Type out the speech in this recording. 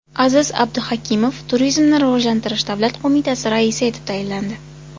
Aziz Abduhakimov Turizmni rivojlantirish davlat qo‘mitasi raisi etib tayinlandi.